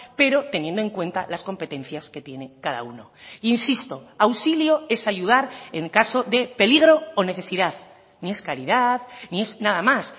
pero teniendo en cuenta las competencias que tiene cada uno insisto auxilio es ayudar en caso de peligro o necesidad ni es caridad ni es nada más